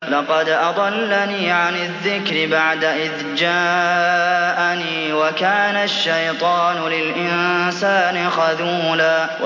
لَّقَدْ أَضَلَّنِي عَنِ الذِّكْرِ بَعْدَ إِذْ جَاءَنِي ۗ وَكَانَ الشَّيْطَانُ لِلْإِنسَانِ خَذُولًا